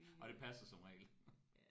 Og det passer som regel